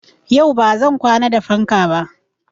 Yau ba zan kwana da fanka ba.